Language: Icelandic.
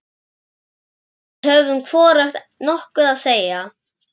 Við höfðum hvorugt nokkuð að segja.